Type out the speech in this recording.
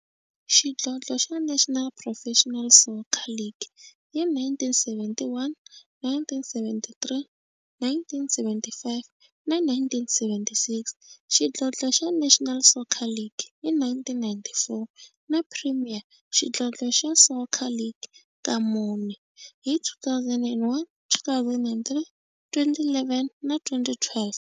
xidlodlo xa National Professional Soccer League hi 1971, 1973, 1975 na 1976, xidlodlo xa National Soccer League hi 1994, na Premier Xidlodlo xa Soccer League ka mune, hi 2001, 2003, 2011 na 2012.